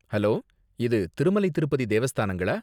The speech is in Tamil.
ஹலோ! இது திருமலை திருப்பதி தேவஸ்தானங்களா?